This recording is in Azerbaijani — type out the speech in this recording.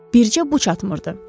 Bircə bu çatmırdı.